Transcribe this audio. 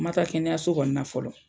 Ma taa kɛnɛyaso kɔni na fɔlɔ